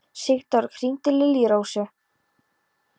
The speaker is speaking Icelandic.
Sigdór, hringdu í Liljurósu.